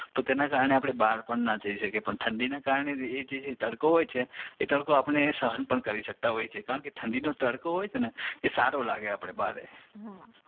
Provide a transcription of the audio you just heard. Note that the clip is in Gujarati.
તો તેને કારણે આપણે બહાર પણ ના જય શકીએ પણ ઠંડીને કારણે એ જે તડકો હોય છે એ તડકો આપણે સહન પણ કરી સકતા હોય છીએ કારણકે એ જે ઠંડીનો તડકો હોય છે ને એ સારો લાગે આપડે